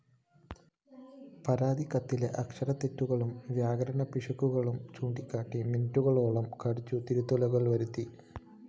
പരാതിക്കത്തിലെ അക്ഷരത്തെറ്റുകളും വ്യാകരണപിശകുകളും ചൂണ്ടിക്കാണ്ടി മിനിറ്റുകളോളം കട്ജു തിരുത്തലുകള്‍ വരുത്തി